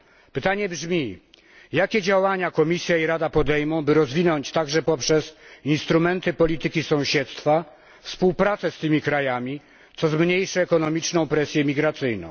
Pytanie brzmi jakie działania Komisja i Rada podejmą, by rozwinąć, także poprzez instrumenty polityki sąsiedztwa, współpracę z tymi krajami, co zmniejszy ekonomiczną presję migracyjną?